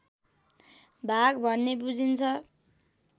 भाग भन्ने बुझिन्छ